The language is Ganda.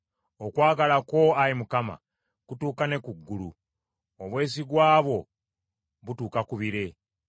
Okwagala kwo, Ayi Mukama , kutuuka ne ku ggulu; obwesigwa bwo butuuka ku bire.